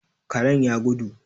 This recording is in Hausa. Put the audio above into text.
Karen ya gudu.